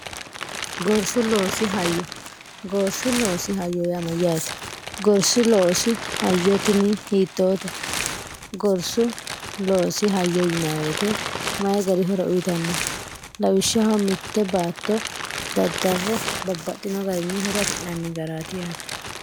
gorsu loosi hayyo gorsu loosi hayo yaa mayyaate gorsi loosi hayyo tini hiittoote gorsu loosi hayyo yinay woyite mayi gari horo uyitanno lawishshaho mitte baatto daddarre babbaxino garini horo afi'naanni garaat iyaate